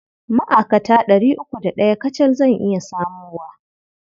Ma'akata ɗari uku da ɗaya kacal zan iya samowa.